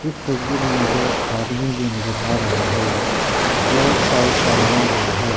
तस्वीर मुझे आदमी भी नजर आ रहा है फ्लोर टाइल्स का बना हुआ है।